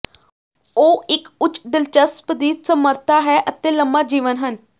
ਉਹ ਇੱਕ ਉੱਚ ਦਿਲਚਸਪ ਦੀ ਸਮਰੱਥਾ ਹੈ ਅਤੇ ਲੰਮਾ ਜੀਵਨ ਹਨ